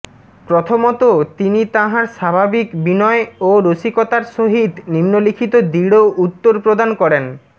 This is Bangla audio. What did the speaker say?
প্রথমতঃ তিনি তাঁহার স্বাভাবিক বিনয় ও রসিকতার সহিত নিম্নলিখিত দৃঢ় উত্তর প্রদান করেনঃ